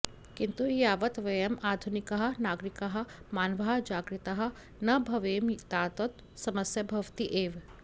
किन्तु यावत् वयम् आधुनिकाः नागरिकाः मानवाः जागरिताः न भवेम तावत् समस्या भवति एव